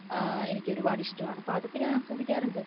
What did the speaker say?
ആ എനിക്ക് ഒരുപാട് ഇഷ്ടമാണ് അപ്പോ അതൊക്കെ ഞാൻ ആസ്വദിക്കാറുണ്ട്